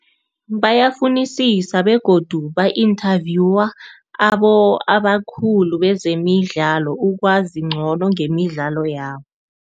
Bayafunisisa begodu ba-inthavyuwa abakhulu bezemidlalo, ukwazi ngcono ngemidlalo yabo.